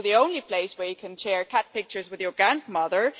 It's also the only place where you can share cat pictures with your grandmother